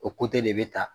O de bɛ ta